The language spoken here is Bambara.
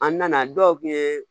An nana dɔw kun ye